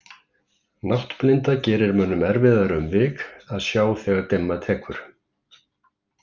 Náttblinda gerir mönnum erfiðara um vik að sjá þegar dimma tekur.